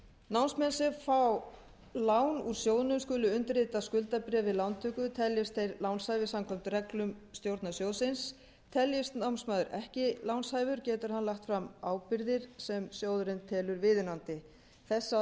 námsmenn sem fá lán úr sjóðnum skulu undirrita skuldabréfið við lántöku teljist þeir lánshæfir samkvæmt reglum stjórnar sjóðsins teljist námsmaður ekki lánshæfur getur hann lagt fram ábyrgðir sem sjóðurinn telur viðunandi þessa breytingartillögu